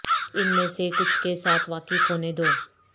ان میں سے کچھ کے ساتھ واقف ہونے دو